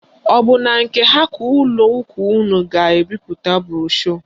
Ọ bụ na nke ha ka ụlọ ụka unu ga-ebipụta broshu?